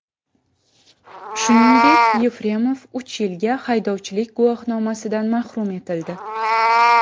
Shuningdek, Yefremov uch yilga haydovchilik guvohnomasidan mahrum etildi.